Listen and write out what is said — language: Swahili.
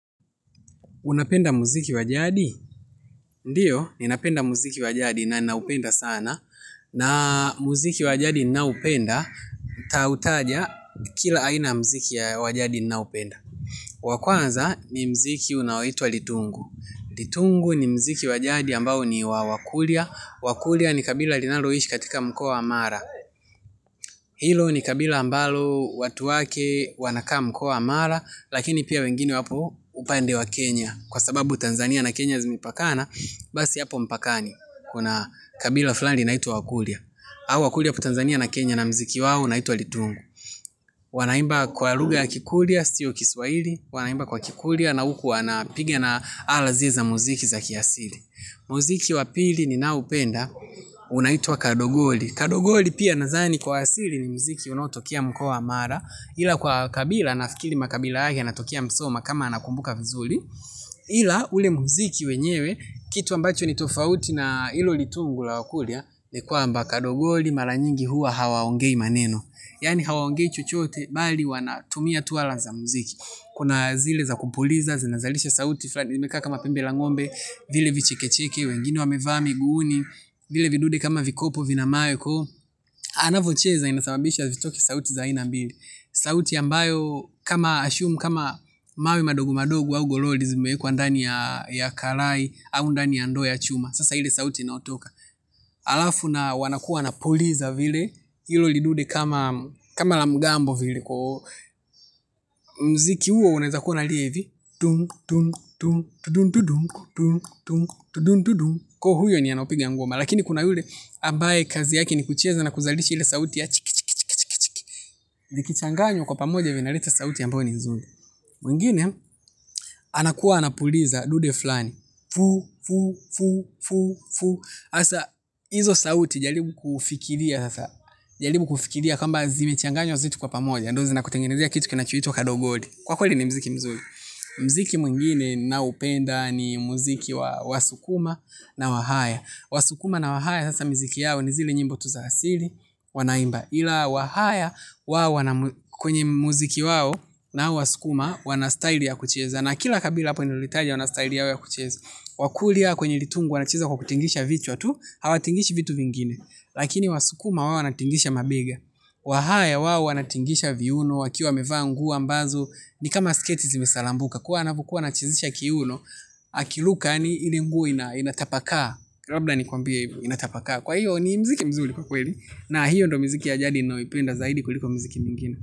Unapenda muziki wa jadi? Ndiyo, ninapenda muziki wa jadi na ninaupenda sana. Na muziki wa jadi ninaoupenda, nitautaja kila aina muziki ya wajadi ninaoupenda. Wakwanza ni muziki unaoitwa Litungu. Litungu ni muziki wajadi ambao ni wa wakurya. Wakurya ni kabila linaloishi katika mkoa wa mara. Hilo ni kabila ambalo watu wake wanakaa mkoa wa mara, lakini pia wengine wapo upande wa Kenya. Kwa sababu Tanzania na Kenya zimepakana, basi hapo mpakani, kuna kabila fulani linaitwa wakurya. Hao wakurya wapo Tanzania na Kenya na muziki wao unaitwa Litungu. Wanaimba kwa lugha ya kikurya, sio kiswahili na huku wanapiga na ala zile za muziki za kiasili. Muziki wa pili ninaoupenda, unaitwa kadogoli. Kadogoli pia nazani kwa asili ni muziki unaotokea mkoa wa mara, ila kwa kabila, nafikiri makabila yake yanatokea Musoma kama nakumbuka vizuri. Ila ule muziki wenyewe kitu ambacho ni tofauti na ilo litungu la wakurya, ni kwamba kadogoli mara nyingi huwa hawaongei maneno yani hawaongei chochoote bali wanatumia tu ala za muziki kuna zile za kupuliza zinazalisha sauti fulani zimekaa kama pembe la ng'ombe vile vichekecheke wengine wamevaa miguuni, vile vidude kama vikopo vina mawe, ko anavocheza inasababisha zitoke sauti za aina mbili sauti ambayo kama assume kama mawe madogo madogo au goroli zimewekwa ndani ya kalai, au ndani ya ndoo ya chuma. Sasa ile sauti inayotoka. Alafu na wanakuwa wanapuliza vile, hilo lidude kama la mgambo vile. Muziki huo unaweza kuwa unalia hivi tung! Tung! Tung! Ko huyo ni anayepiga ngoma. Lakini kuna yule, ambaye kazi yake ni kucheza na kuzalishi ile sauti ya chikichikichiki. Zikichanganywa kwa pamoja vinaleta sauti ambayo ni nzuri. Mwingine, anakuwa anapuliza dude fulani. Fu, fu, fu, fu, fu hasa, hizo sauti jaribu kufikiria. Jaribu kufikiria kwamba zimechanganywa zote kwa pamoja ndo zinakutengenezea kitu kinachoitwa Kadogoli kwa kweli ni muziki mzuri, mziki mungine na upenda ni muziki wa wasukuma na wahaya Wasukuma na wahaya sasa muziki yao ni zile nyimbo tu za asili. Wanaimba. Ila wahaya kwenye muziki wao na hao wasukuma wanastyle ya kucheza. Na kila kabila hapo nililolitaja wana style yao ya kucheza kakuryya kwenye litungu wanacheza kwa kutingisha vichwa tu, hawatingishi vitu vingine. Lakini wasukuma wao wanatingisha mabega. Wahaya wao wanatingisha viuno wakiwa wamevaa nguo ambazo ni kama sketi zimesalambuka kwa anavyokuwa anachezesha kiuno akiruka yani ile nguo inatapakaa. Kwa hiyo ni muziki mzuri kwa kweli. Na hiyo ndo muziki ya jadi ninayoipenda zaidi kuliko miziki mingine.